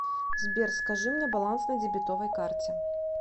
сбер скажи мне баланс на дебетовой карте